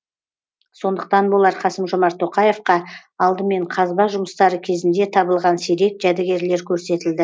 сондықтан болар қасым жомарт тоқаевқа алдымен қазба жұмыстары кезінде табылған сирек жәдігерлер көрсетілді